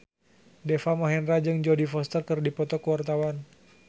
Deva Mahendra jeung Jodie Foster keur dipoto ku wartawan